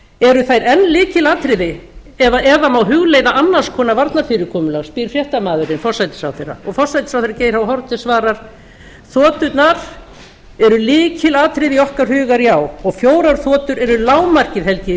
eru þær enn lykilatriði eða má hugleiða annars konar varnarfyrirkomulag spyr fréttamaðurinn forsætisráðherra forsætisráðherra geir h haarde svarar þoturnar eru lykilatriði í okkar huga já og fjórar þotur eru lágmarkið held ég í